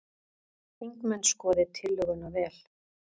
Þingmenn skoði tillöguna vel